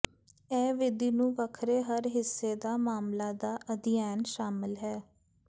ਇਹ ਵਿਧੀ ਨੂੰ ਵੱਖਰੇ ਹਰ ਹਿੱਸੇ ਦਾ ਮਾਮਲਾ ਦਾ ਅਧਿਐਨ ਸ਼ਾਮਲ ਹੈ